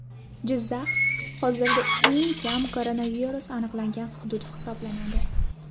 Jizzax hozirda eng kam koronavirus aniqlangan hudud hisoblanadi.